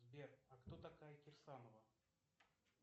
сбер а кто такая кирсанова